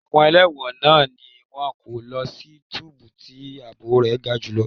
Àwọn ẹlẹ́wọ̀n náà ni wón kọ́ lọ sí túbú tí ààbò rẹ̀ ga jù lọ.